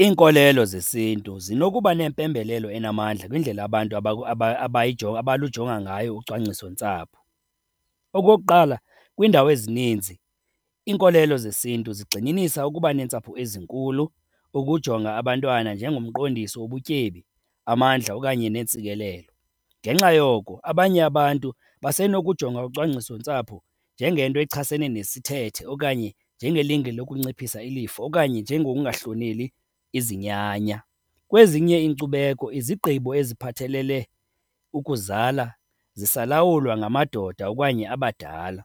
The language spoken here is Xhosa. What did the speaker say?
Iinkolelo zesiNtu zinokuba nempembelelo enamandla kwindlela abantu abalujonga ngayo ucwangcisontsapho. Okokuqala, kwiindawo ezininzi iinkolelo zesiNtu zigxininisa ukuba neentsapho ezinkulu, ukujonga abantwana njengomqondiso wobutyebi, amandla okanye neentsikelelo. Ngenxa yoko abanye abantu basenokujonga ucwangcisontsapho njengento echasene nesithethe okanye njengelinge lokunciphisa ilifa okanye njengokungahloneleli izinyanya. Kwezinye iinkcubeko izigqibo eziphathelele ukuzala zisalawulwa ngamadoda okanye abadala,